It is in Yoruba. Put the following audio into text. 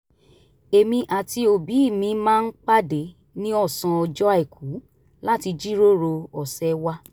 èmi àti òbí mi máa ń pàdé ní ọ̀sán ọjọ́ àìkú láti jíròrò ọ̀sẹ̀ wa